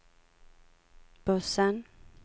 bussen